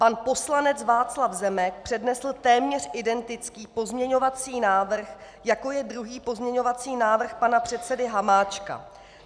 Pan poslanec Václav Zemek přednesl téměř identický pozměňovací návrh, jako je druhý pozměňovací návrh pana předsedy Hamáčka.